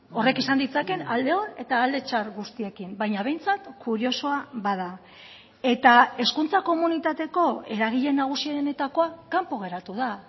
horrek izan ditzaken alde on eta alde txar guztiekin baina behintzat kuriosoa bada eta hezkuntza komunitateko eragile nagusienetakoa kanpo geratu da